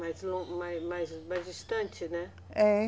Mais, mais, mais, mais distante, né? É